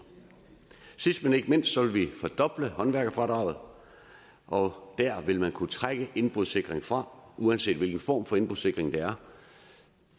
sidst men ikke mindst vil vi fordoble håndværkerfradraget og der vil man kunne trække indbrudssikring fra uanset hvilken form for indbrudssikring det er